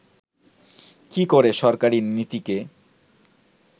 কি করে সরকারী নীতিকে